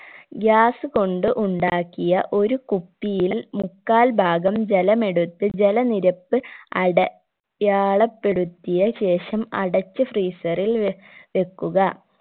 gas കൊണ്ട് ഉണ്ടാക്കിയ ഒരു കുപ്പിയിൽ മുക്കാൽ ഭാഗം ജലമെടുത്ത് ജലനിരപ്പ് അട യാളപെടുത്തിയ ശേഷം അടച്ചു freezer ൽ വെ വെക്കുക